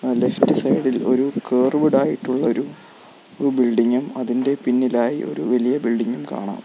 ആ left side ഇൽ ഒരു കേർവ്ഡ് ആയിട്ടുള്ള ഒരു ബിൽഡിംഗും അതിൻ്റെ പിന്നിലായി ഒരു വലിയ ബിൽഡിംഗും കാണാം.